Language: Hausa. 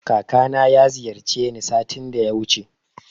Kakana ya ziyarce ni satin da yawuce